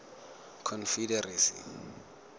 confederacy